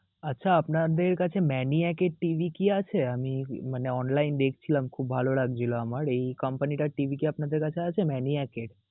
আচ্ছা, আপনাদের কাছে Maniac এর TV কি আছে, আমি মানে online দেখছিলাম, খুব ভালো লাগছিল আমার, এই company টার TV কি আপনাদের কাছে আছে Maniac এর?